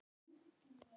Vinkona að eilífu.